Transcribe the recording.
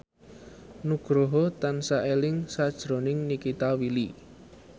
Nugroho tansah eling sakjroning Nikita Willy